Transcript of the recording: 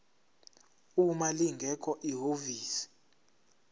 uma lingekho ihhovisi